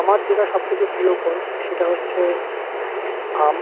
আমার যেটা সবথেকে প্রিয় ফল সেটা হচ্ছে আম।